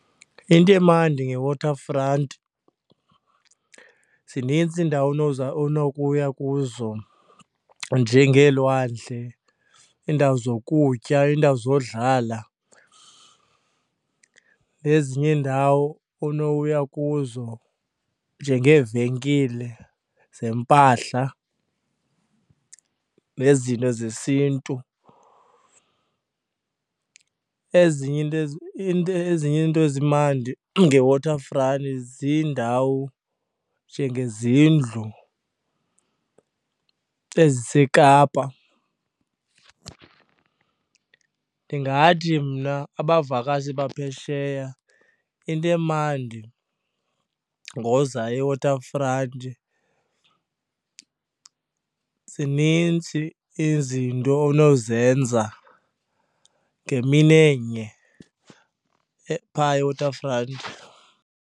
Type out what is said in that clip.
Into emandi ngeWaterfront zinintsi iindawo onowuza onokuya kuzo njengelwandle, iindawo zokutya, iindawo zodlala nezinye iindawo onokuya kuzo njengeevenkile zempahla nezinto zesiNtu. Ezinye iinto into, ezinye iinto ezimandi ngeWaterfront ziindawo njengezindlu eziseKapa. Ndingathi mna abavakashi baphesheya into emandi ngoza eWaterfront, zinintsi izinto onozenza ngemini enye phaa eWaterfront.